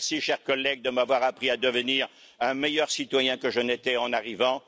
Merci, chers collègues, de m'avoir appris à devenir un meilleur citoyen que je n'étais en arrivant.